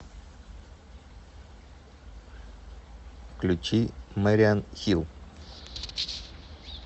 включи мэриан хилл